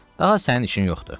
Daha sənin işin yoxdur.